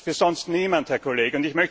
Für sonst niemanden, Herr Kollege!